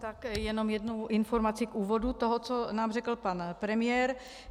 Tak jenom jednu informaci k úvodu toho, co nám řekl pan premiér.